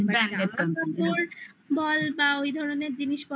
বল বা ওই ধরনের জিনিসপত্র